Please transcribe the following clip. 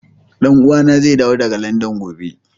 Dan uwa na zai dawo daga Landan gobe.